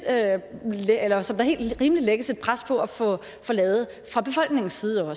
også lægges et pres på at få lavet fra befolkningens side